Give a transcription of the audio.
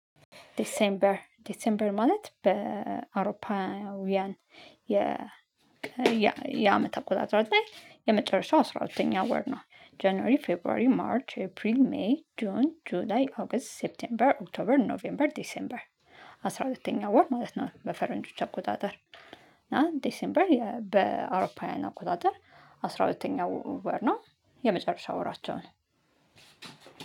ዲሴምበር ዲሴምበር ማለት በአውሮፓውያን የ የአመት አቆጣጠር ላይ የመጨረሻው አስራ ሁለተኛ ወር ነው። ጀኒዋሪ ፌቨርዋሪ ማርች ኤፕሪል ሜይ ጆን ጁን ኦገስት ሴፕቴምበር ኦክቶበር ኖቬምበር ዲሴምበር። አስራ ሁለተኛ ወር ማለት ነው። በፈረንጆች አቆጣጠር እና ዲሴምበር በአውሮፓውያን አቆጣጠር አስራ ሁለተኛው ወር ነው። የመጨረሻ ወራቸው ነው።